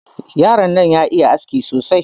Yaron nan ya iya aski sosai.